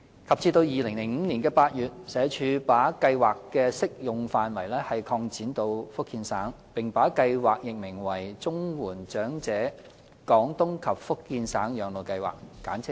及至2005年8月，社署把計劃的適用範圍擴展至福建省，並把計劃易名為"綜援長者廣東及福建省養老計劃"。